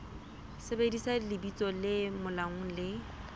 sebedisa lebitso le molaong le